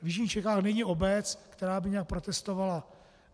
V jižních Čechách není obec, která by nějak protestovala.